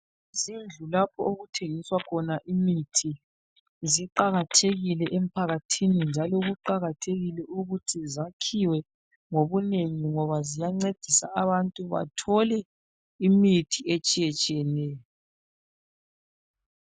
Izindlu lapho okuthengiswa khona imithi ziqakathekile emphakathini njalo kuqakathekile ukuthi zakhiwe ngobunengi ngoba ziyancedisa abantu bathole imithi etshiyetshiyeneyo.